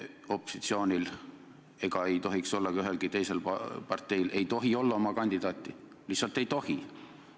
Opositsioonil ega ka ühelgi teisel parteil ei tohi olla oma kandidaati – lihtsalt ei tohi!